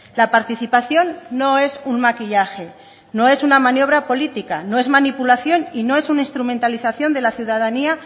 la participación no es un maquillaje no es una maniobra política no es manipulación y no es un instrumentalización de la ciudadanía